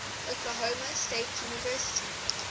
oklahoma state university